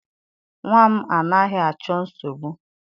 Nnwa m anaghị achọ nsogbu.